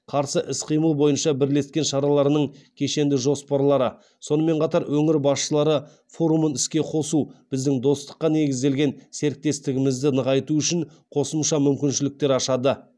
қарсы іс қимыл бойынша бірлескен шараларының кешенді жоспарлары сонымен қатар өңір басшылары форумын іске қосу біздің достыққа негізделген серіктестігімізді нығайту үшін қосымша мүмкіншіліктер ашады